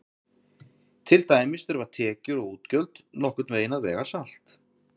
Til dæmis þurfa tekjur og útgjöld nokkurn veginn að vega salt.